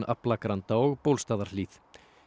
Aflagranda og Bólstaðarhlíð